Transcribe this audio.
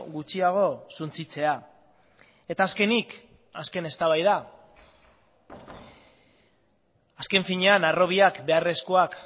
gutxiago suntsitzea eta azkenik azken eztabaida azken finean harrobiak beharrezkoak